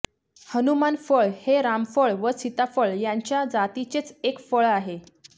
हनुमान फळ हे रामफळ व सीताफळ यांच्या जातीचेच एक फळ आहे